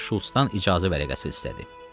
Sonra isə Şulcdan icazə vərəqəsi istədi.